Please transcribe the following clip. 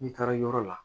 N'i taara yɔrɔ la